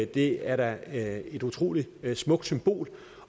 det er da et utrolig smukt symbol